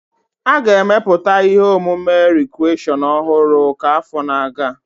A ga-emepụta ihe omume rikreshọn ọhụrụ ka afọ na-aga